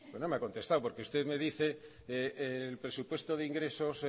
no me ha contestado por que usted me dice el presupuesto de ingresos